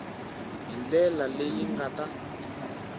hi ndlela leyi nga ta